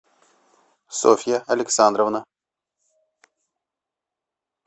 софья александровна